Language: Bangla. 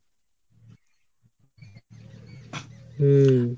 হম